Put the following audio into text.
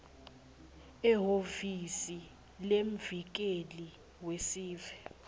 ehhovisi lemvikeli wesive